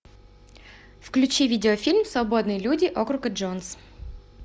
включи видеофильм свободные люди округа джонс